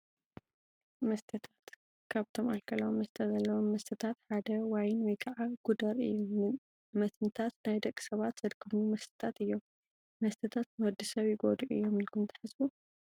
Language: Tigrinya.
መስተታት፡- ካብቶም ኣልኮላዊ መስተ ዘለዎም መስተታት ሓደ ዋይን ወይ ከዓ ጉደር እዩ፡፡ መትንታት ናይ ደቂ ሰባት ዘድክሙ መስተታት እዮም፡፡ መስተታት ንወዲ ሰብ ይጎድኡ እዮም ኢልኩም ትሓስቡ?